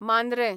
Mandrem